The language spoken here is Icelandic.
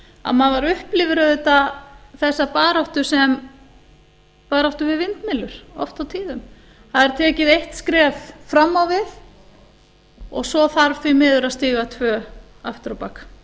að maður upplifir auðvitað þessa baráttu sem baráttu við vindmyllur oft og tíðum það er tekið eitt skref fram á við og svo þarf því miður að stíga tvö aftur á bak